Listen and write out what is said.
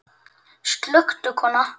Slökktu kona.